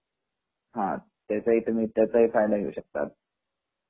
त्याचा हि फायदा घेऊ शकता